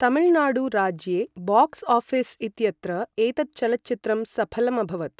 तमिलनाडु राज्ये box office इत्यत्र एतत् चलच्चित्रं सफलम् अभवत्।